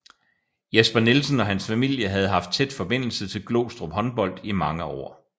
Jesper Nielsen og hans familie havde haft tæt forbindelse til Glostrup Håndbold i mange år